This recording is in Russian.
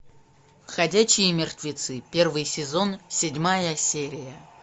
ходячие мертвецы первый сезон седьмая серия